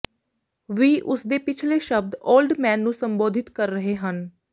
ਵੀ ਉਸ ਦੇ ਪਿਛਲੇ ਸ਼ਬਦ ਓਲਡ ਮੈਨ ਨੂੰ ਸੰਬੋਧਿਤ ਕਰ ਰਹੇ ਹਨ